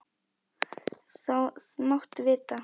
Það máttu vita.